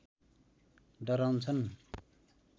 डराउँछन्